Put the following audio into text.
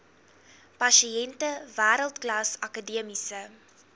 pasiënte wêreldklas akademiese